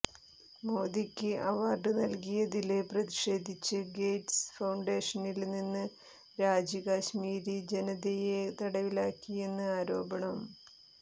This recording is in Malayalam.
മോദിക്ക് അവാര്ഡ് നല്കിയതില് പ്രതിഷേധിച്ച് ഗേറ്റ്സ് ഫൌണ്ടേഷനില്നിന്ന് രാജി കാശ്മീരി ജനതയെ തടവിലാക്കിയെന്ന് ആരോപണം